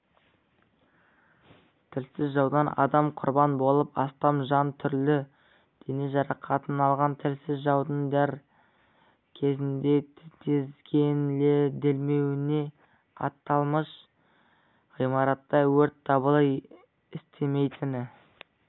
тілсіз жаудан адам құрбан болып астам жан түрлі дене жарақатын алған тілсіз жаудың дер кезінде тізгінделмеуіне аталмыш ғимаратта өрт дабылы істемейтіні